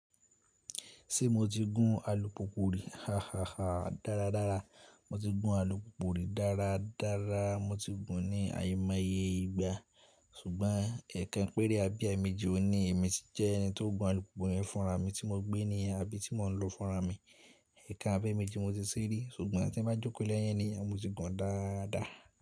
Ṣé mo ti gún alùpùpù rí? Ha, ha, ha. Dára, dára. Mo ti gún alùpùpù rí dára, dára. Mo ti gùn ní àìmọye ìgbà, ṣùgbọ́n ẹ̀ekan pẹ́rẹ́ abi eemeji ni èmi ti jẹ́ ẹni tó gùn alùpùpù yẹn fúnra mi tí mo gbé ní abí tí mò ń lò fúnra mi. Ẹ̀ekan abi eemeji mo ti ṣe rí ṣùgbọ́n tí ń bá jókòó lé eniyan ni mo ti gùn dáadáa.